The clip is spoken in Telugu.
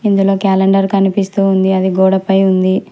ఇందులో క్యాలెండర్ కనిపిస్తూ ఉంది అది గోడపై ఉంది.